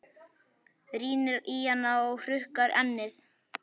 Rýnir í hana og hrukkar ennið.